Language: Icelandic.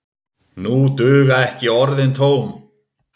Nú duga ekki orðin tóm.